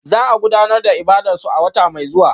Za a gudanar da ibadarsu a wata mai zuwa